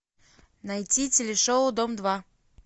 найти телешоу дом два